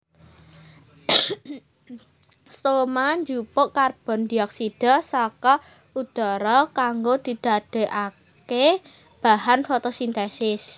Stoma njupuk karbondioksida saka udhara kanggo didadèkaké bahan fotosintesis